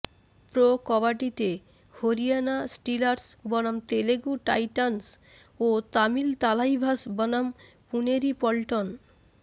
pro কবাডিতে Haryana Steelers বনাম Telugu Titans ও তামিল থালাইভাস বনাম পুনেরি পল্টন